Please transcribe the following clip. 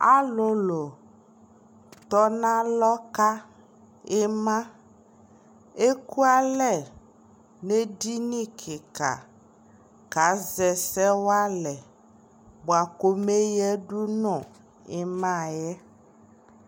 alʋlʋ tɔnʋ alɔ ka ima, ɛkʋalɛ nʋ ɛdini kikaa kazɛ ɛsɛ walɛ bʋakʋ ɔmɛ yadʋ nʋ imaaɛ